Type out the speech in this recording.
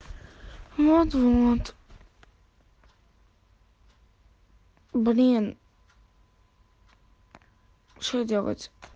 вот вот блин что делать